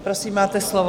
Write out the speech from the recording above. Prosím, máte slovo.